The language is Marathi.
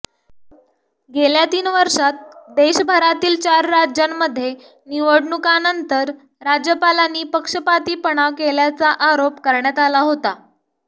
गेल्या तीन वर्षांत देशभरातील चार राज्यांमध्ये निवडणुकांनंतर राज्यपालांनी पक्षपातीपणा केल्याचा आरोप करण्यात आला होता